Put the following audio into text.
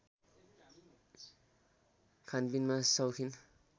खानपिनमा शौखिन